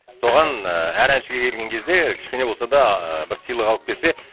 соған ыыы әр әншіге келген кезде кішкене болса да ы бір сыйлық алып келсе